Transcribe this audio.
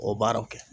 O baaraw kɛ